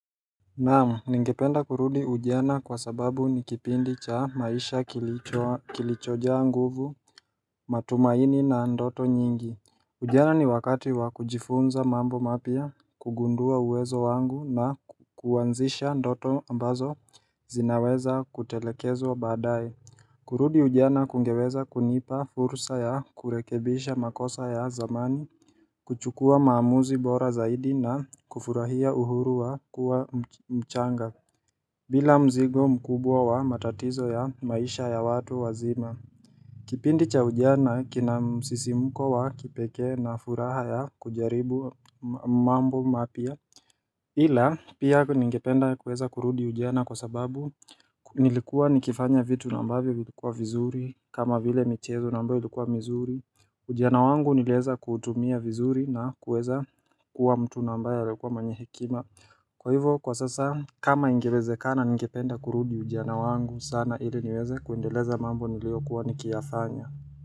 Naam, ningependa kurudi ujiana kwa sababu ni kipindi cha maisha kilichoa kilichojaja nguvu, matumaini na ndoto nyingi Ujana ni wakati wa kujifunza mambo mapya, kugundua uwezo wangu na kuanzisha ndoto ambazo zinaweza kutelekezwa baadae kurudi ujana kungeweza kunipa fursa ya kurekebisha makosa ya zamani, kuchukua maamuzi bora zaidi na kufurahia uhuru wa kuwa mchanga bila mzigo mkubwa wa matatizo ya maisha ya watu wazima Kipindi cha ujana kina msisimko wa kipekee na furaha ya kujaribu mambo mapya ila pia ningependa kuweza kurudi ujiana kwa sababu nilikuwa nikifanya vitu na ambavyo vilikuwa vizuri kama vile michezo na ambayo ilikuwa mizuri Ujana wangu nilieza kutumia vizuri na kuweza kuwa mtu nambaye alikuwa mwenyehekima Kwa hivyo kwa sasa kama ingewezekana ningependa kurudi ujana wangu sana ili niweze kuendeleza mambo nileo kuwa nikiafanya.